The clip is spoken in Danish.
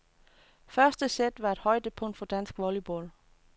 Første sæt var et højdepunkt for dansk volleyball.